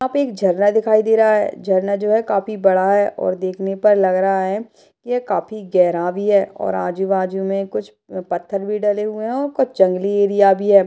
यहाँ पे एक झरना दिखाई दे रहा है झरना जो है काफी बड़ा है और देखने पर लग रहा है यह काफी गहरा भी है और आजू बाजू में कुछ पत्थर भी डले हुए हैं और कुछ जंगली एरिया भी है ।